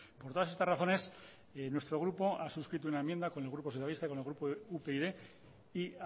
por todas estas razones nuestro grupo ha suscrito una enmienda con el grupo socialista y con el grupo upyd y